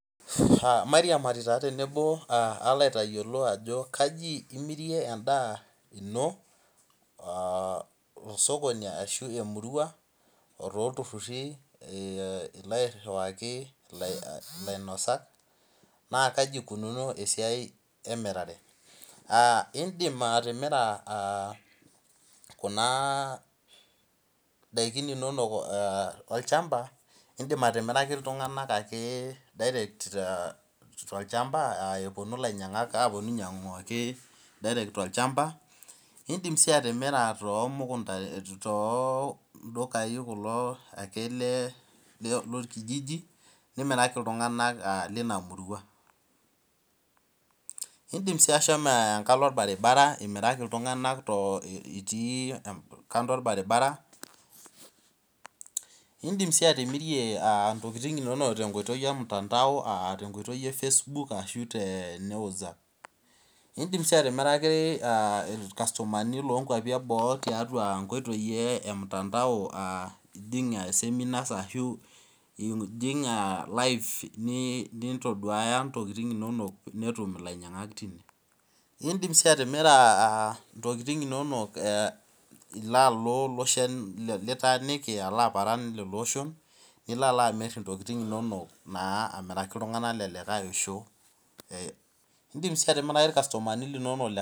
Mairiamari taa tenebo alo aitayiolo ajo kaji imirie en'daa ino tosokoni ashu emurua o tolturhurhi ilo airhiwaki ilainosak naa kaji ikunuuno esiai emirare Aa in'dim atimira Kuna daikin inonok olchamba in'dim atimiraki iltung'anak ake tolchamba epuonu ilainyang'ak apuonu ainyang'u ake direct tolchamba In'dim sii atimira toldukai kulo ake lorkijiji nimiraki iltung'anak lina murua In'dim sii ashomo enkalo olbaribara imiraki iltung'anak itii kando olbaribara , in'dim sii atimirie ntokiting inono tenkoitoi emutandao aa tenkoitoi e Facebook ashu tene whatsapp In'dim sii atimiraki ilkasumani toongwapi eboo aa nkoitoi e mutandao ijingijingi seminars ashuu ijing' elive nintoduaya ntokiting inonok netum ilainyang'ak tine In'dim sii atimira aah ntokiting inono ilo alo loshon litaaniki alo aparan lelo oshon nilo amir intokiting inonok amiraki iltung'anak le likai osho In'dim sii atimiraki ilkastumani linonok